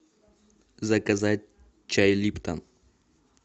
заказать чай липтон